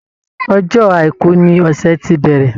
Ọjọ́ àìkú ní ọsẹ ti bẹrẹ.